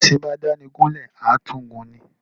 Bí éṣin bá dáni gún lè, à tún gùn ni.